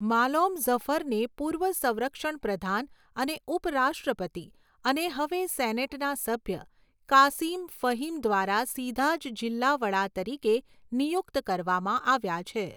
માલોમ ઝફરને પૂર્વ સંરક્ષણ પ્રધાન અને ઉપરાષ્ટ્રપતિ અને હવે સેનેટના સભ્ય કાસિમ ફહીમ દ્વારા સીધા જ જિલ્લા વડા તરીકે નિયુક્ત કરવામાં આવ્યા છે.